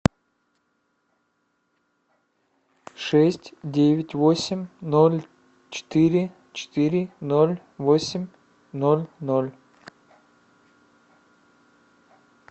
шесть девять восемь ноль четыре четыре ноль восемь ноль ноль